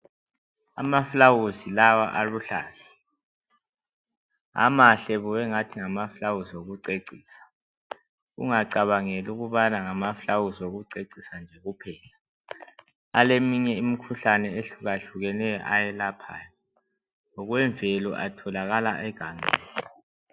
Amaflawuzi lawa aluhlaza amahle kubi angathi ngamaflawuzi okucecisa ungacabangeli ukubana ngamaflawuzi okucecisa nje kuphela aleminye imikhuhlane ehlukahlukeneyo ayelaphayo ngokwemvelo atholakala egangeni.